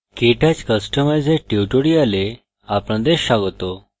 কেটচ কস্টমাইজের tutorial আপনাদের স্বাগত